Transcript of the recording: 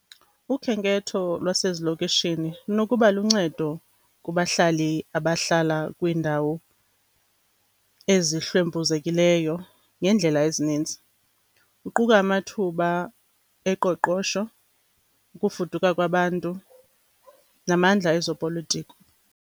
Ukhenketho lwasezilokishini lunokuba luncedo kubahlali abahlala kwindawo ezihlwempuzekileyo ngeendlela ezininzi. Kuquka amathuba oqoqosho, ukufuduka kwabantu namandla ezopolitiko.